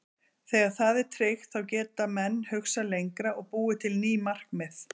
Þegar það er tryggt þá geta menn hugsað lengra og búið til ný markmið.